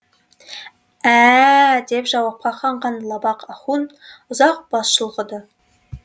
ә ә ә деп жауапқа қанған лабақ ахун ұзақ бас шұлғыды